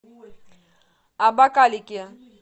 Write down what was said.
абакалики